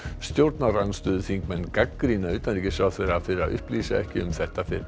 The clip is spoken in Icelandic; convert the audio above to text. stjórnarandstöðuþingmenn gagnrýna utanríkisráðherra fyrir að upplýsa ekki um þetta fyrr